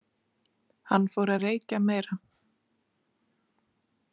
Hann fór að reykja meira.